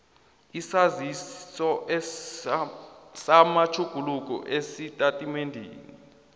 isaziso samatjhuguluko esitatimendeni